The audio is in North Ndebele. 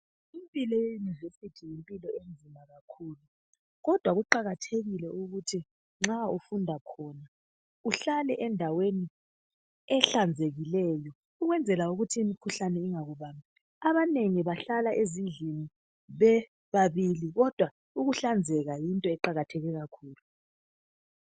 Impilo yeYunivesi yimpilo enzima kakhulu kodwa kuqakathekile ukuthi nxa ufunda khona uhlale endaweni ehlanzekileyo ukwenzela ukuthi imikhuhlane ingakubambi. Abanengi bahlala ezindlini bebabili kodwa ukuhlanzeka yinto eqakatheke kakhulu.